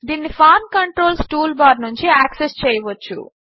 దీనిని form controls toolbar నుంచి access చేయవచ్చు